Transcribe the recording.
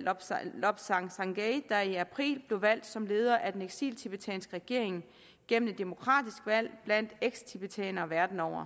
lobsang lobsang sangay der i april blev valgt som leder af den eksiltibetanske regering gennem et demokratisk valg blandt eksiltibetanere verden over